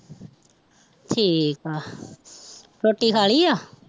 ਠੀਕ ਆ ਰੋਟੀ ਖਾ ਲਈ ਆ